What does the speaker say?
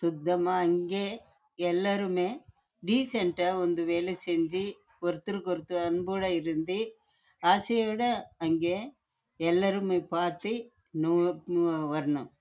எல்லாருமே டீசென்ட் ஆஹ் இருந்து வேல செஞ்சி ஒருத்தர் கு ஒருத்தர் வந்து சேர்ந்து வேலை செய்யணும்